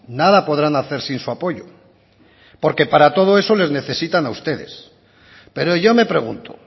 nada podrán hacer sin su apoyo porque para todo eso les necesitan a ustedes pero yo me pregunto